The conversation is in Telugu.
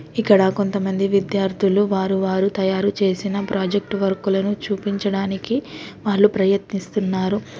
ఇక్కడ కొంతమంది విద్యార్థులు వారు వారు తయారు చేసిన ప్రాజెక్టు వర్క్ లను చూపించడానికి వాళ్ళు ప్రయత్నిస్తున్నారు.